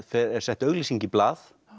er sett auglýsing í blað